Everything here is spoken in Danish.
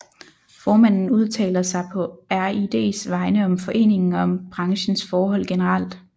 Formanden udtaler sig på RIDs vegne om foreningen og om branchens forhold generelt